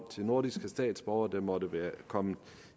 til nordiske statsborgere der måtte være kommet